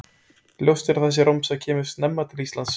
Ljóst er að þessi romsa kemur snemma til Íslands.